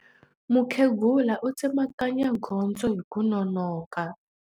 Mukhegula u tsemakanya gondzo hi ku nonoka.